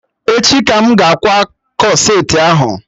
Echi ka m ga-akwa corsetị ahụ